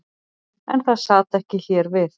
En það sat ekki hér við.